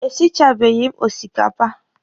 E sichabeghi m osikapa.